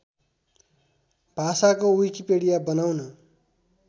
भाषाको विकिपीडिया बनाउन